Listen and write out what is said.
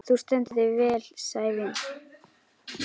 Þú stendur þig vel, Sævin!